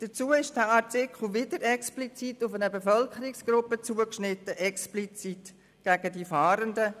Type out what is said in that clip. Dazu ist der Artikel wieder explizit auf eine Bevölkerungsgruppe zugeschnitten, explizit gegen die Fahrenden.